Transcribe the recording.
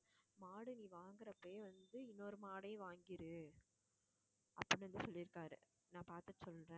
மாடு, நீ வாங்குறப்பயே வந்து இன்னொரு மாடையும் வாங்கிடு அப்படினு வந்து சொல்லியிருக்காரு. நான் பாத்துட்டு சொல்றேன்